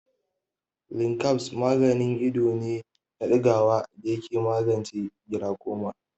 Linkabs maganin ido ne na ɗigawa da yake magance gilakoma.